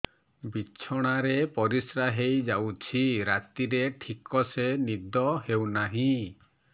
ବିଛଣା ରେ ପରିଶ୍ରା ହେଇ ଯାଉଛି ରାତିରେ ଠିକ ସେ ନିଦ ହେଉନାହିଁ